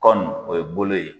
Kɔni o ye bolo ye.